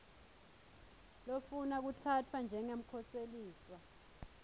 lofuna kutsatfwa njengemkhoseliswa